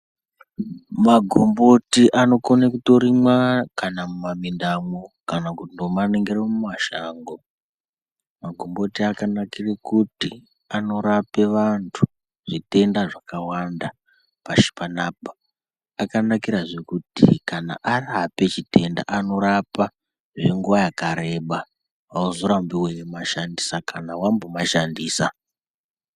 Magomboti anokona kutorimwa kana mumamindamwo kana kumaningire mumashango. Magomboti akanakire kuti anorape vantu zvitenda zvakawanda pashi panapa. Akanakirazve kuti kana arape chitenda anorapa zvenguva yakareba hauzorambi uimashandisa kana vamboma shandisa.